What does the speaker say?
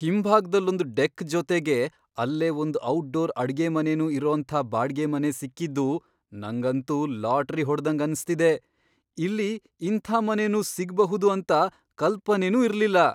ಹಿಂಭಾಗ್ದಲ್ಲೊಂದ್ deck ಜೊತೆಗೆ ಅಲ್ಲೇ ಒಂದ್ ಔಟ್ಡೋರ್ ಅಡ್ಗೆಮನೆನೂ ಇರೋಂಥ ಬಾಡ್ಗೆ ಮನೆ ಸಿಕ್ಕಿದ್ದು ನಂಗಂತೂ ಲಾಟ್ರಿ ಹೊಡ್ದಂಗ್ ಅನ್ಸ್ತಿದೆ, ಇಲ್ಲಿ ಇಂಥ ಮನೆನೂ ಸಿಗ್ಬಹುದು ಅಂತ ಕಲ್ಪನೆನೂ ಇರ್ಲಿಲ್ಲ.